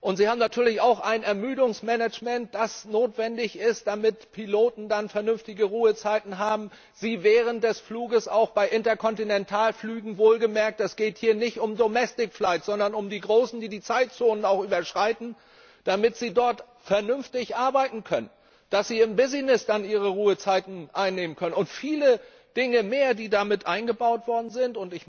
Sie haben natürlich auch ein Ermüdungsmanagement, das notwendig ist, damit Piloten vernünftige Ruhezeiten haben, damit sie während des Fluges auch bei Interkontinentalflügen wohlgemerkt, es geht hier nicht um sondern um die großen, die auch die Zeitzonen überschreiten vernünftig arbeiten können, dass sie im Business ihre Ruhezeiten einhalten können und viele Dinge mehr, die da mit eingebaut worden sind.